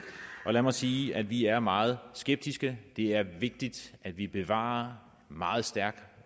lad mig sige at vi er meget skeptiske det er vigtigt at vi bevarer meget stærk